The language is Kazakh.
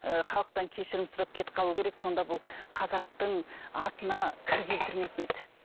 ы халықтан кешірім сұрап кетіп қалу керек сонда бұл қазақтың атына кір келтірмейтін еді